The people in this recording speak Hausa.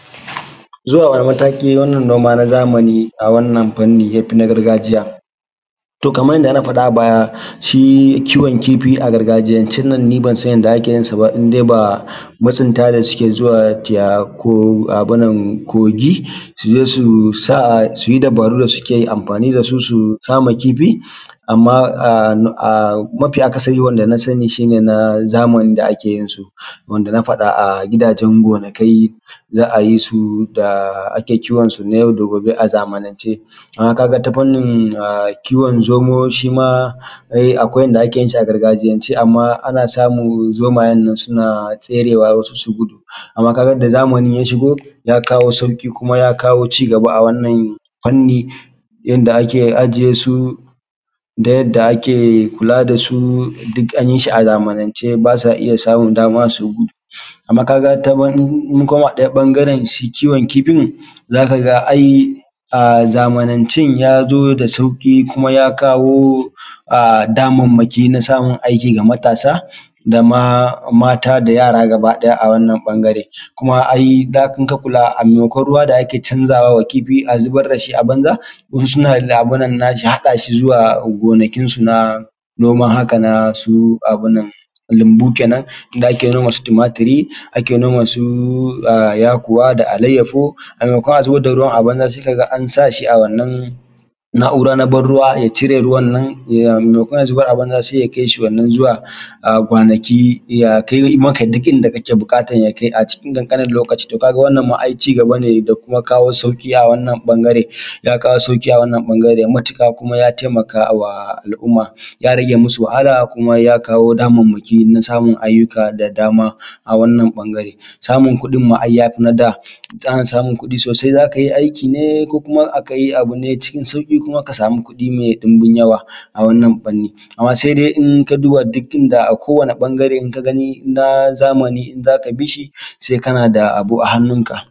Zuwa wani mataki fannin noma na zamani a wannan fanni yafi na gargajiya, to kamar yadda aka faɗa a baya shi kiwon kifi a gargajiyancen nan ni ban san yadda ake yin sa ba indai ba masunta ne suke zuwa kogi suje su sa suyi dubaru da suke amfani da su su kama kifi, amma mafi akasarin wanda na sani shi ne na zamani da ake yin su wanda na faɗa a gidajen gonakai za a yi su da ake kiwon sun a yau da gobe a zamanance, amma ta kaga ta fannin kiwon zomo shi ma akwai yadda ake yin shi a gargajiyan ce amma ana samun zomayen suna serewa wasu su gudu amma kaga da zamani ya shigo ya kawo sauki kuma ya kawo ci gaba a wannan fanni, yadda ake ajiye su da yadda ake kula da su duk an yi shi a zamanance basa iya samun dama su gudu, amma kaga in mun koma ɗaya ɓangaren shi kiwon kifin zaka ga ai a zamanancen ya zo da sauki kuma ya kawo damanmaki na samun aiki ga matasa da mata da yara gaba ɗaya a wannan ɓangaren kuma idan ka kula a maimakon ruwa da ake canzawa kifi a zubar da shi a banza wasu suna haɗa shi zuwa gonakinsu na noman haka su lambu kenan inda ake noma su tumatiri ake noma su yakuwa da allayahu, a maimakon a zubar da ruwan a banza sai kaga an sa shi a wannan naura na banruwa ya cire ruwan nan, maimakon a zubar a banza sai ya kai shi wannan zuwa kwanaki ya kai maka duk inda kake bukata ya kai a cikin kankanin lokaci, to kaga wannan ai ci gaba ne da kuma kawo sauki a wannan ɓangaren ya kawo sauki a wannan ɓangaren matuka kuma ya taimaka wa al’umma ya rage masu wahala kuma ya kawo damanmaki na samun ayyuka da dama a wannan ɓangare, samun kuɗin ma yafi na da ana samun kuɗi sosai za kai aiki ne ko kuma akai abu ne cikin sauki kuma ka samu kuɗi mai ɗubin yawa a wannan fanni, amma sai in ka duba duk inda a kowane ɓangare in ka gani na zamani in zaka bishi sai kana da abu a hannun ka